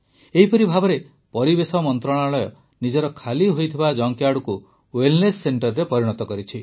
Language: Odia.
ଏହିପରି ଭାବେ ପରିବେଶ ମନ୍ତ୍ରଣାଳୟ ନିଜର ଖାଲି ହୋଇଥିବା ଜଙ୍କ୍ୟାର୍ଡକୁ ୱେଲନେସ୍ ସେଂଟରରେ ପରିଣତ କରିଛି